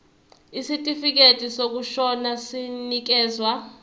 isitifikedi sokushona sinikezwa